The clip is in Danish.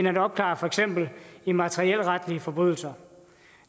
at opklare for eksempel immaterielretlige forbrydelser